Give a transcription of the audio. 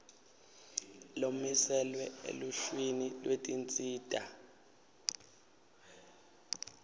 lomiselwe eluhlwini lwetinsita